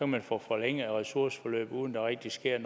man få forlænget ressourceforløbet uden der rigtig sker